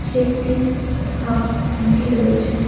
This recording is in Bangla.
সে একটি হাফ ভিটি রয়েছে।